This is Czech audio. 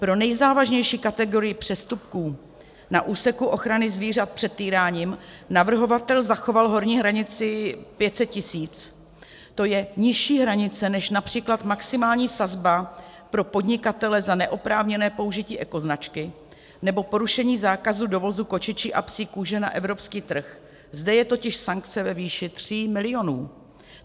Pro nejzávažnější kategorii přestupků na úseku ochrany zvířat před týráním navrhovatel zachoval horní hranici 500 tisíc, to je nižší hranice než například maximální sazba pro podnikatele za neoprávněné použití ekoznačky nebo porušení zákazu dovozu kočičí a psí kůže na evropský trh, zde je totiž sankce ve výši 3 milionů.